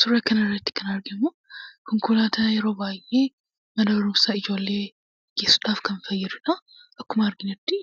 Suuraa kanarratti kan arginu konkolaataa yeroo baay'ee mana barumsaa ijoollee geessuudhaaf kan fayyadudha. Akkuma arginutti